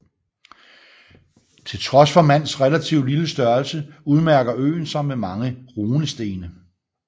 Til trods for Mans relative lille størrelse udmærker øen sig med mange runestene